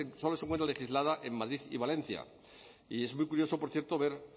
solo se encuentra legislada en madrid y valencia y es muy curioso por cierto ver